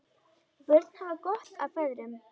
Börn hafa gott af feðrum.